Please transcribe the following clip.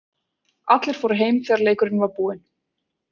Allir fóru heim þegar leikurinn var búinn.